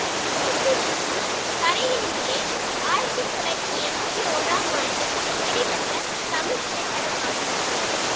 ஒருத்தி மட்டும் கரையினிலே ஆயிரத்தி தொள்ளாயிரத்தி எம்பத்தி ஓராம் ஆண்டு வெளிவந்த தமிழ் திரைப்படமாகும்